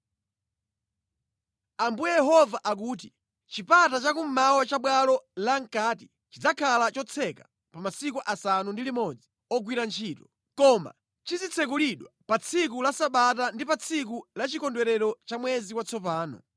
“Ambuye Yehova akuti, Chipata chakummawa cha bwalo lamʼkati chizikhala chotseka pa masiku asanu ndi limodzi ogwira ntchito, koma chizitsekulidwa pa tsiku la sabata ndi pa tsiku la chikondwerero cha mwezi watsopano.